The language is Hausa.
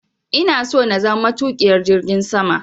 Ina so na zama matuƙiyar jirgin sama.